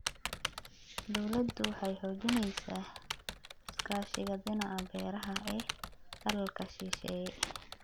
Dawladdu waxay xoojinaysaa iskaashiga dhinaca beeraha ee dalalka shisheeye.